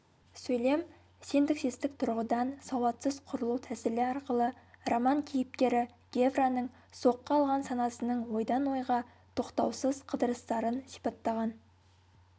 сөйлем синтаксистік тұрғыдан сауатсыз құрылу тәсілі арқылы роман кейіпкері гевраның соққы алған санасының ойдан-ойға тоқтаусыз қыдырыстарын сипаттаған